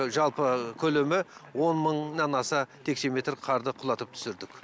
жалпы көлемі он мыңнан аса текше метр қарды құлатып түсірдік